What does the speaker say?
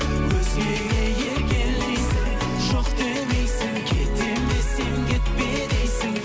өзгеге еркелейсің жоқ демейсің кетемін десем кетпе дейсің